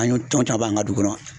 An y'o an ka dugu kɔnɔ